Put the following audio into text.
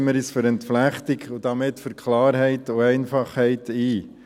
Setzen wir uns für eine Entflechtung und damit für Klarheit und Einfachheit ein.